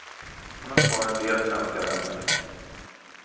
Hon har kvar en del svenska vänner.